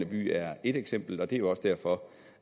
by er et eksempel det er jo også derfor